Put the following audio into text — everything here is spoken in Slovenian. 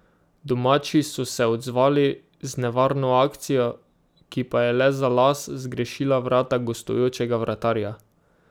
Domači so se odzvali z nevarno akcijo, ki pa je le za las zgrešila vrata gostujočega vratarja.